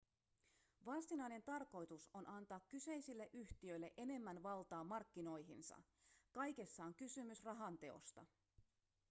varsinainen tarkoitus on antaa kyseisille yhtiöille enemmän valtaa markkinoihinsa kaikessa on kysymys rahan teosta